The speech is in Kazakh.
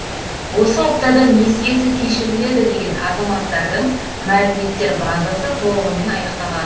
осы аптада несиесі кешіріледі деген азаматтардың мәліметтер базасы толығымен аяқталады